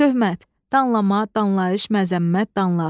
Töhmət, danlama, danlayış, məzəmmət, danlaq.